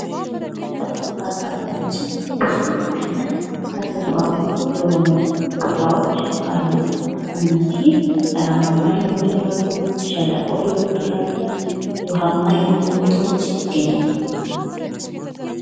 በ አካባቢዎችን ብዙ ዓይነት ተፈጥሯዊ የሆኑ ቦታዎች አሉ። እነዚህ ተራራማ ሊሆኑ ይችላሉ፤ ሸለቆ ሊሆኑ ይችላሉ። ውሃማ የሆኑ ቦታዎች ይገኛሉ።